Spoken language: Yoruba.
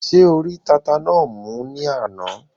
Ṣé o rí tata náà mú ní àná?